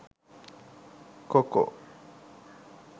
coco